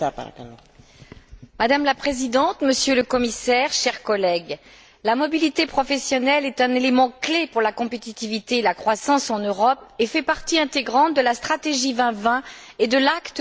Madame la Présidente, Monsieur le Commissaire, chers collègues, la mobilité professionnelle est un élément clé pour la compétitivité et la croissance en Europe et fait partie intégrante de la stratégie 2020 et de l'acte pour le marché unique.